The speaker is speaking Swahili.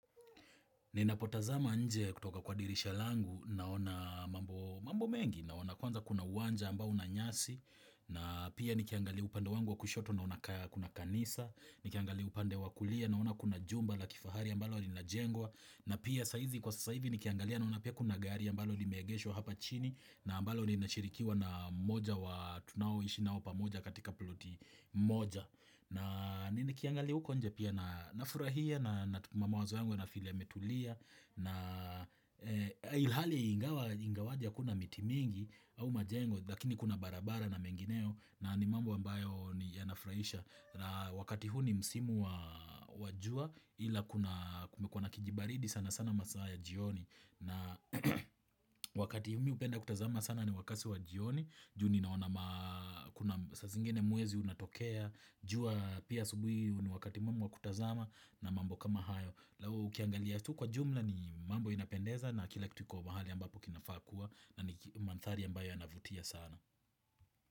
Ninapotazama nje kutoka kwa dirisha langu naona mambo mengi naona kwanza kuna uwanja ambao una nyasi na pia nikiangalia upande wangu wa kushoto naona kuna kanisa, nikiangalia upande wa kulia naona kuna jumba la kifahari ambalo linajengwa na pia saa hizi kwa sasa hivi nikiangalia na una pia kuna gari ambalo limeegeshwa hapa chini na ambalo linashirikiwa na mmoja wa tunaoishi nao pamoja katika ploti moja. Na ni nikiangali huko nje pia na furahia na mawazo yangu yana feel yametulia na ilhali ingawaje hakuna miti mingi au majengo Lakini kuna barabara na mengineo na ni mambo ambayo ni yanafurahisha na wakati hu ni msimu wa jua ila kumekuwa nakijibaridi sana sana masaa ya jioni na wakati mimi hupenda kutazama sana ni wakati wa jioni juu ninaona kuna saa zingine mwezi unatokea jua pia asubuhi ni wakati mwema wa kutazama na mambo kama hayo Lau ukiangalia tu kwa jumla ni mambo inapendeza na kila kitu iko mahali ambapo kinafaa kuwa na ni mandhari ambayo yanavutia sana.